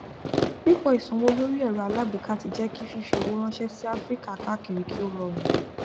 pípọ ìsanwó lórí ẹrọ alágbèéká ti jẹ kí fífi owó ránṣẹ sí áfíríkà káàkiri kí ó rọrùn